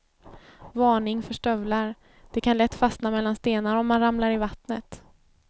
Varning för stövlar, de kan lätt fastna mellan stenar om man ramlar i vattnet.